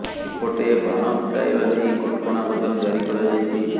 ଏପଟେ ବାଣ ଫୁଟାଇବା ନେଇ କଟକଣା ମଧ୍ୟ ଜାରି କରାଯାଇଛି